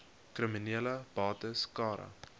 kriminele bates cara